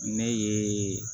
Ne ye